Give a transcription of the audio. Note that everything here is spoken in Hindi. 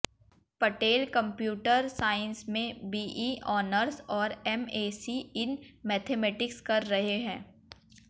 पटेल कंप्यूटर साइंस में बीई ऑनर्स और एमएसी इन मैथमैटिक्स कर रहें हैं